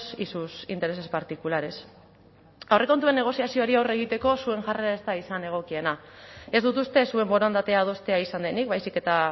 y sus intereses particulares aurrekontuen negoziazioari aurre egiteko zuen jarrera ez da izan egokiena ez dut uste zuen borondatea adostea izan denik baizik eta